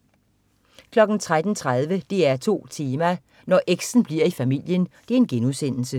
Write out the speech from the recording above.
13.30 DR2 Tema: Når eks'en bliver i familien*